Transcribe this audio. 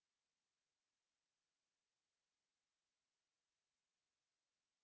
यह script देवेन्द्र कैरवान द्वारा अनुवादित है तथा आई आई टी बॉम्बे की तरफ से मैं सकीना अब आप से विदा लेती हूँ